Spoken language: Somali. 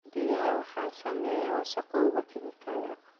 Biyaha waxaa saameeya wasakhowga kiimikada.